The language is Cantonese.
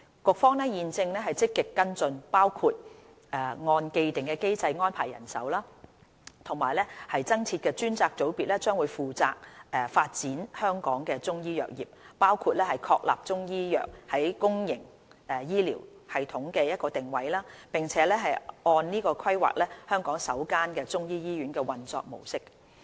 局方現正積極跟進，包括按既定機制安排人手和增設的專責組別將會負責發展香港的中醫藥業，包括確立中醫藥在公營醫療系統的定位，並按此規劃香港首間中醫醫院的運作模式。